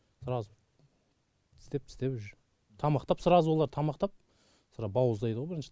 сразу тістеп тістеп уже тамақтап сразу олар тамақтап бауыздайдығо бірінші